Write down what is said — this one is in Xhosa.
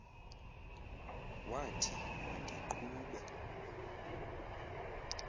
wathi ma ndiqhube